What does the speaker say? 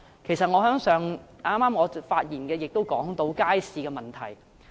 其實我剛才的發言也提到街市的問題。